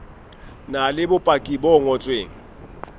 na le bopaki bo ngotsweng